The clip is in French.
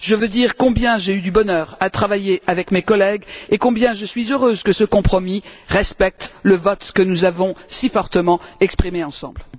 Je veux dire combien j'ai eu du bonheur à travailler avec mes collègues, et combien je suis heureuse que ce compromis respecte le vote que nous avons si fortement exprimé ensemble.